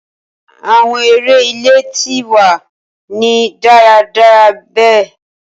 Awọn ere ile ti wa ni daradara be